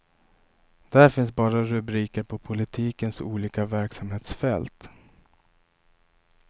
Där finns bara rubriker på politikens olika verksamhetsfält.